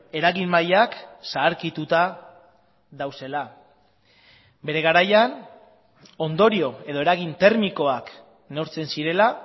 eragin mailak zaharkituta daudela bere garaian ondorio edo eragin termikoak neurtzen zirela